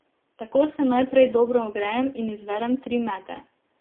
Tako se najprej dobro ogrejem in izvedem tri mete.